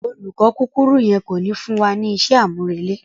Olùkọ kúkurú yen ko ni fún wa ní isé àmúrele.